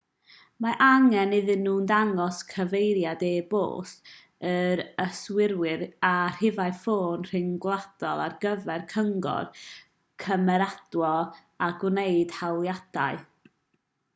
mae angen iddyn nhw ddangos cyfeiriad e-bost yr yswiriwr a rhifau ffôn rhyngwladol ar gyfer cyngor/cymeradwyo a gwneud hawliadau